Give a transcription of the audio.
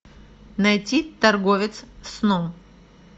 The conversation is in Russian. найти торговец сном